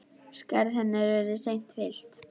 Skarð hennar verður seint fyllt.